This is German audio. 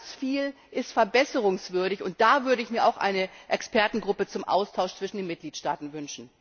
Ganz viel ist verbesserungswürdig. Und da würde ich mir auch eine Expertengruppe zum Austausch zwischen den Mitgliedstaaten wünschen.